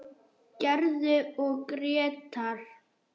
Gerður og Grétar.